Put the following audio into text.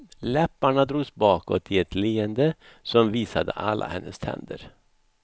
Läpparna drogs bakåt i ett leende som visade alla hennes tänder.